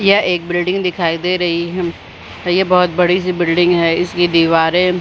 यह एक बिल्डिंग दिखाई दे रही हैं ये बहुत बड़ी सी बिल्डिंग है इसकी दीवारे--